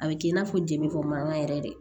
A bɛ k'i n'a fɔ jeli kɔ mankan yɛrɛ de